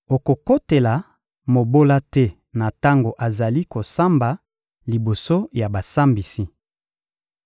Okokotela mobola te na tango azali kosamba liboso ya basambisi.